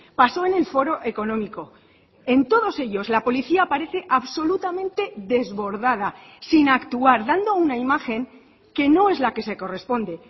pasó en el foro económico en todos ellos la policía parece absolutamente desbordada sin actuar dando una imagen que no es la que se corresponde